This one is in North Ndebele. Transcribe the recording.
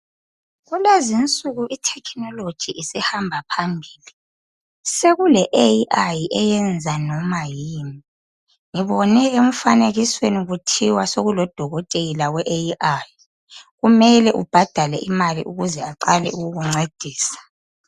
Kulezi insuku i"technology" isihamba phambili. Sekule "AI" eyenza noma yini. Ngibone emfanekisweni kuthiwa sekulodokotela we"AI".Kumele ubhadale imali ukuze aqale ukukuncedisa.